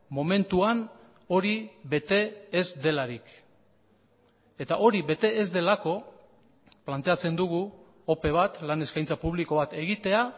momentuan hori bete ez delarik eta hori bete ez delako planteatzen dugu ope bat lan eskaintza publiko bat egitea